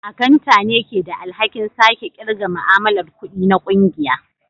Akanta ne ke da alhakin sake kirga ma'amalar kudi na kungiya